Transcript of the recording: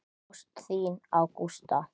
Ást þína á Gústa.